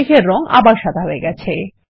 মেঘের রঙ আবার সাদা হয়ে গেছে